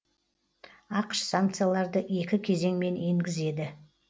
ақш санкцияларды екі кезеңмен енгізеді